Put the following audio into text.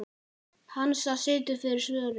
Hansa situr fyrir svörum.